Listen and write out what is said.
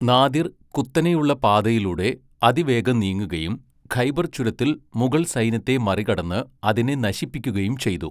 Nadir കുത്തനെയുള്ള പാതയിലൂടെ അതിവേഗം നീങ്ങുകയും ഖൈബർ ചുരത്തിൽ മുഗൾ സൈന്യത്തെ മറികടന്ന് അതിനെ നശിപ്പിക്കുകയും ചെയ്തു.